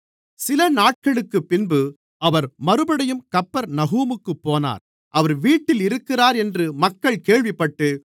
சில நாட்களுக்குப்பின்பு அவர் மறுபடியும் கப்பர்நகூமுக்குப் போனார் அவர் வீட்டில் இருக்கிறார் என்று மக்கள் கேள்விப்பட்டு